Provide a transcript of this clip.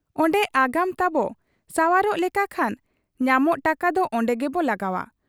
ᱚᱱᱰᱮ ᱟᱜᱟᱢ ᱛᱟᱵᱚ ᱥᱟᱶᱟᱨᱚᱜ ᱞᱮᱠᱟ ᱠᱷᱟᱱ ᱧᱟᱢᱚᱜ ᱴᱟᱠᱟᱫᱚ ᱚᱱᱰᱮ ᱜᱮᱵᱚ ᱞᱟᱜᱟᱣ ᱟ ᱾